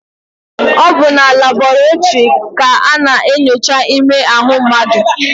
Ọ bụ na labọretịrị ka a na-enyocha ime ahụ mmadụ.